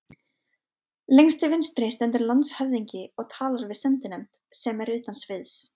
Lengst til vinstri stendur landshöfðingi og talar við sendinefnd, sem er utan sviðs.